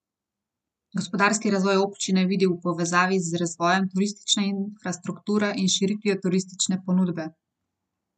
Gospodarski razvoj občine vidi v povezavi z razvojem turistične infrastrukture in širitvijo turistične ponudbe.